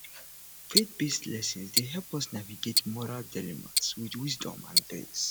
faithbased lessons dey help us navigate moral dilemmas with wisdom and grace